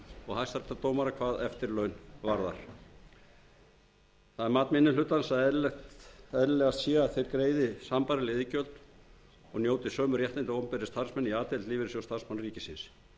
og hæstaréttardómara hvað eftirlaun varðar það er mat minni hlutans að eðlilegast sé að þeir greiði sambærileg iðgjöld og njóti sömu réttinda og opinberir starfsmenn í a deild lífeyrissjóðs starfsmanna ríkisins